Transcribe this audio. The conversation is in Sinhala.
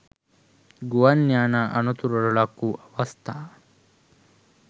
ගුවන් යානා අනතුරට ලක්වූ අවස්ථා